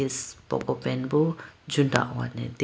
poko pant boo chudahone deyaboo.